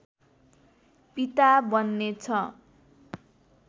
पिता बन्ने छ